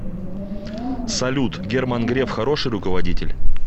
салют герман греф хороший руководитель